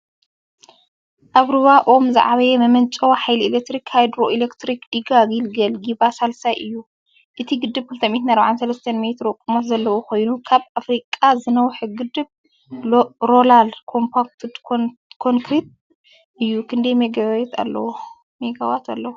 ኣብ ሩባ ኦሞ ዝዓበየ መመንጨዊ ሓይሊ ኤሌክትሪክ ሃይድሮኤሌክትሪክ ዲጋ ጊልገል ጊበ ሳልሳይ እዩ። እቲ ግድብ 243 ሜትሮ ቁመት ዘለዎ ኮይኑ ካብ ኣፍሪቃ ዝነውሐ ግድብ ሮለር ኮምፓክትድ ኮንክሪት (RCC) እዩ። ክንደይ ሜጋዋት (MW) ኣለዎ?